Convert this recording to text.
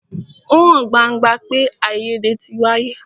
Ó hàn gbangba pé àìyédè tí wáyé.